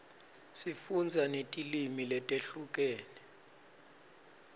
sifundza netilwimi letehlukene